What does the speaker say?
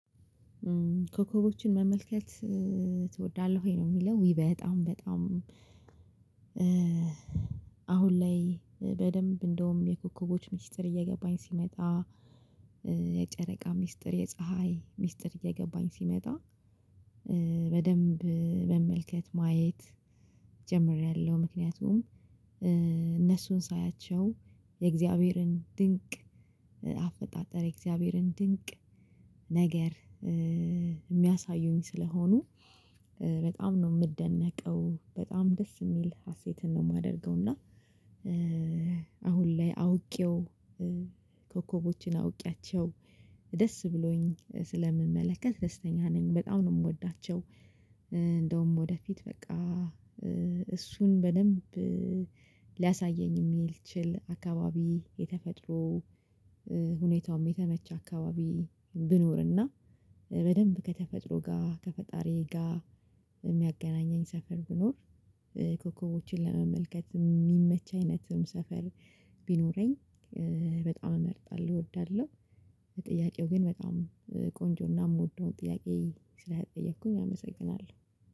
ኮከቦችን መመልከት ትወዳለህ ወይ? ነው የሚለው ዊ በጣም በጣም። አሁን ላይ በደንብ እንደውም የኮከቦች ሚስጥር እየገባኝ ሲመጣ ሚስጥር የፀሀይ ሚስጥር እየገባኝ ሲመጣ በደንብ ማየት ጀምሬያለሁ። ምክንያቱም እነሱን ሳያቸው የእግዚአብሔርን ድንቅ አፈጣጠር፣ የእግዚአብሔርን ድንቅ ነገር የሚያሳዩኝ ስለሆኑ በጣም ነው የምደነቀው በጣም ደስ የሚል ሀሴትን ነው የማደርገው። እና አሁን ላይ አውቄው ኮከቦችን አውቄያቸው ደስ ብሎኝ ስለምመለከት ደስተኛ ነኝ በጣም ነው የምወዳቸው። እንደውም ወደፊት በቃ እሱን በደንብ ሊያሳየኝ የሚል ይችል አካባቢ የተፈጥሮ ሁኔታውም የተመቸ አካባቢ ብኖርና በደንብ ከተፈጥሮ ጋር ከፈጣሪ ጋር የሚያገናኘኝ ሰፈር ብኖር ኮከቦችን ለመመልከት የሚመች አይነትም ሰፈር ቢኖረኝ በጣም እመርጣለሁ እወዳለሁ። ጥያቄው ግን በጣም ቆንጆና የምወደው ጥያቄ ስለተጠየቅኩኝ አመሰግናለሁ